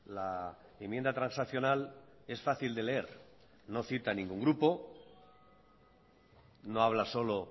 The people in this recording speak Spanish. la enmienda transaccional es fácil de leer no cita ningún grupo no habla solo